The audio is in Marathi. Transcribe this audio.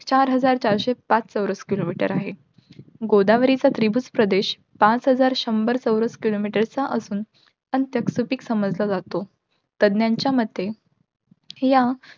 चार हजार चारशे पाच चौरस kilometer आहे. गोदावरीचा त्रिभुजप्रदेश पाच हजार शंभर चौरस kilometer चा असून, अंत्यक सुपीक समजला जातो. तज्ञांच्या मते, या